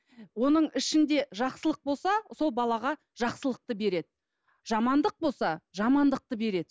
оның ішінде жақсылық болса сол балаға жақсылықты береді жамандық болса жамандықты береді